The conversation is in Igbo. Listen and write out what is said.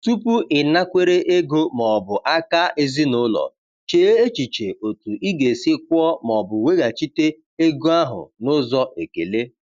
Tupu ịnakwere ego ma ọ bụ aka ezinụlọ, chee echiche otu ị ga-esi kwụọ ma ọ bụ weghachite ego ahụ n’ụzọ ekele.